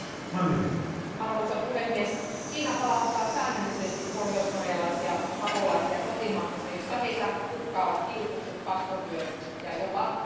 Arvoisa puhemies, Kiina palauttaa säännöllisesti pohjoiskorealaisia pakolaisia kotimaahansa, jossa heitä uhkaavat kidutukset, pakkotyö ja jopa teloitukset.